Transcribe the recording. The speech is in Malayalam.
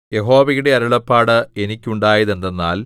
യഹോവയുടെ അരുളപ്പാട് എനിക്കുണ്ടായത് എന്തെന്നാൽ